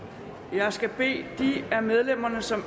jeg skal bede de af medlemmerne som